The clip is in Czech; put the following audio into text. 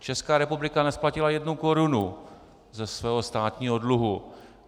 Česká republika nesplatila jednu korunu ze svého státního dluhu.